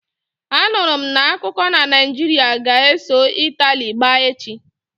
Anụrụ m n'akuko na Naijiria ga-eso Itali gbaa echi